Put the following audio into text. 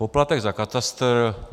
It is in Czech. Poplatek za katastr.